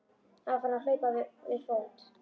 Hann var farinn að hlaupa við fót.